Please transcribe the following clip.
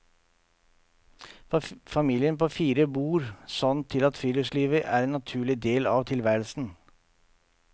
Familien på fire bor sånn til at friluftsliv er en naturlig del av tilværelsen.